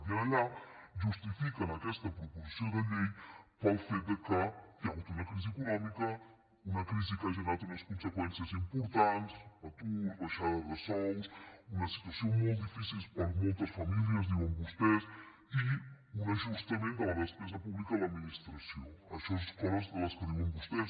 i allà justifiquen aquesta proposició de llei pel fet que hi ha hagut una crisi econòmica una crisi que ha generat unes conseqüències importants atur baixada de sous una situació molt difícil per a moltes famílies diuen vostès i un ajustament de la despesa pública a l’administració això són les coses que diuen vostès